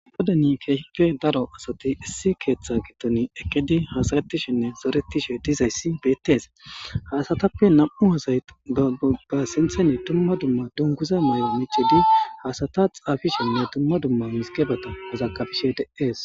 goden keehpe daro asati issi keeththa giton ekedi haasaretishenne zoretishe dizayssi beettes hasatappe nam7u ozay daggoga sintheni dumma dumma dunguza may7o miccidi haasata xaafishenne dumma dumma misgebata hazagabishe de7ees